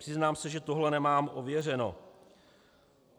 Přiznám se, že tohle nemám ověřeno.